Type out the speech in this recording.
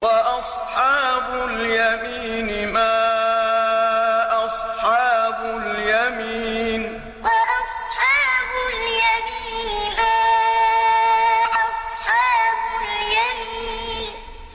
وَأَصْحَابُ الْيَمِينِ مَا أَصْحَابُ الْيَمِينِ وَأَصْحَابُ الْيَمِينِ مَا أَصْحَابُ الْيَمِينِ